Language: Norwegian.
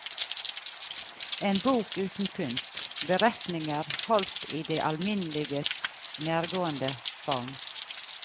En bok uten pynt, beretninger holdt i det alminneliges nærgående form.